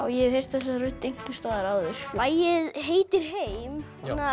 ég hef heyrt þessa rödd einhvers staðar áður lagið heitir heim